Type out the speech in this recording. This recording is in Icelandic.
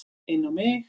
Inn á mig.